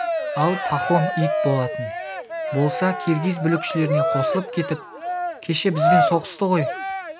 ал пахом ит болатын болса киргиз бүлікшілеріне қосылып кетіп кеше бізбен соғысты ғой